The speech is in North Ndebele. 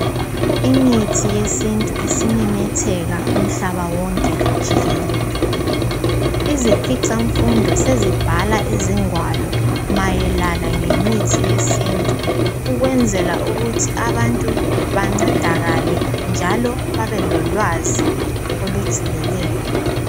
Imithi yesintu isimemetheka umhlaba wonke jikelele. Izikhwicamfundo sezibhala ingwalo mayelana lemithi yesintu ukwenzela ukuthi abantu bancedakale njalo bebelolwazi olujulileyo.